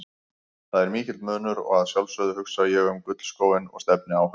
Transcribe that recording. Það er mikill munur og að sjálfsögðu hugsa ég um gullskóinn og stefni á hann.